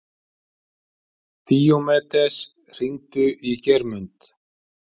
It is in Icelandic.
Díómedes, hringdu í Geirmund.